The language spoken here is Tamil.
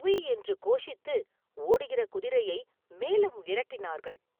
உய்!” என்று கோஷித்து, ஓடுகிற குதிரையை மேலும் விரட்டினார்கள்!.